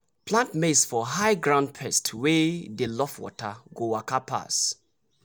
plant maize for high ground pests wey dey love water go waka pass.